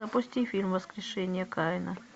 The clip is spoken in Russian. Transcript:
запусти фильм воскрешение каина